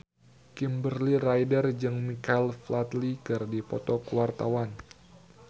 Kimberly Ryder jeung Michael Flatley keur dipoto ku wartawan